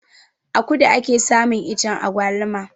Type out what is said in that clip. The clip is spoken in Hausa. A kudu ake samun iccen agwaluma